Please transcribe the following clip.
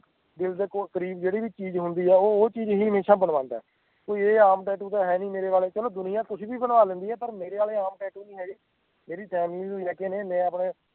ਦਿਲ ਦੇ ਕੋਲ ਕਰੀਬ ਜਿਹੜੀ ਵੀ ਚੀਜ਼ ਹੁੰਦੀ ਆ ਉਹ ਉਹ ਚੀਜ਼ ਹਮੇਸ਼ਾ ਬਣਵਾਉਂਦਾ ਆ ਤੇ ਇਹ ਆਮ tattoo ਤਾਂ ਹੈਨੀ ਮੇਰੇ ਆਲੇ ਚਲੋ ਦੁਨੀਆਂ ਕੁੱਛ ਵੀ ਬਣਵਾ ਲੈਂਦੀ ਆ ਪਰ ਮੇਰੇ ਆਲੇ ਆਮ tattoo ਨੀ ਹੈਗੇ ਮੇਰੀ family ਨੂੰ ਲੈਕੇ ਮੈਂ ਆਪਣਾ